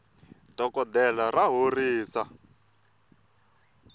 dokoltela ra horisa